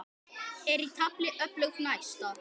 Er í tafli öflug næsta.